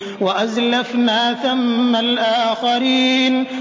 وَأَزْلَفْنَا ثَمَّ الْآخَرِينَ